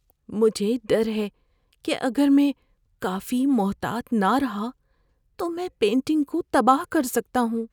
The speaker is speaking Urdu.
مجھے ڈر ہے کہ اگر میں کافی محتاط نہ رہا تو میں پینٹنگ کو تباہ کر سکتا ہوں۔